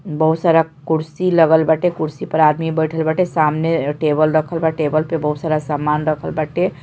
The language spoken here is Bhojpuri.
बहुत सारा कुर्शी लगल बाटे कुर्शी पर आदमी बैठल बाटे सामने टेबल रखल बा। टेबल पे बहुत सारा सामान राखल बाटे |